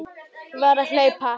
Ég varð að hlaupa.